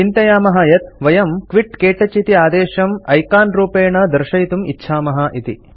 चिन्तयामः यत् वयं क्विट क्तौच इति आदेशं ऐकान् रूपेण दर्शयितुं इच्छामः इति